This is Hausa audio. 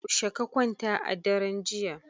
Yaushe ka kwanta a daren jiya?